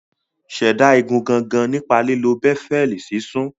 Ṣẹ̀dá igun gangan nípa lílo béfẹ́ẹ̀lì sisun